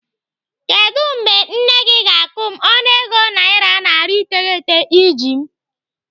Kedụ mgbe nne gị ga-akwụ m ọnụego naira narị iteghete iji m?